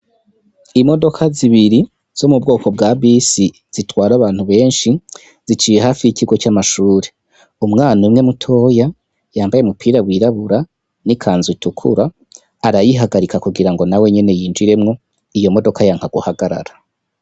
Imodoka zibiri zo mu bwoko bwa bisi zitwara abantu benshi, ziciye hafi y'ikigo c'amashure. Umwana umwe mutoya, yambaye umupira wirabura n'ikanzu itukura arayihagarika kugira ngo na we nyene yinjiremwo, iyo modoka yanka guhagarara.